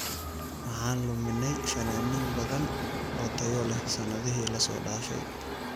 Waxaan luminay fanaaniin badan oo tayo leh sanadihii la soo dhaafay.